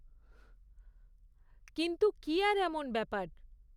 কিন্তু, কী আর এমন ব্যাপার।